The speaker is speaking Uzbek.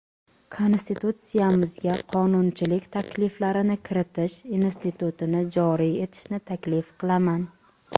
Konstitutsiyamizga qonunchilik takliflarini kiritish institutini joriy etishni taklif qilaman.